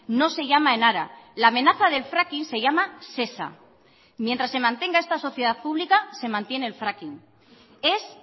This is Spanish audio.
no se llama enara la amenaza del fracking se llama sesa mientras se mantenga esta sociedad pública se mantiene el fracking es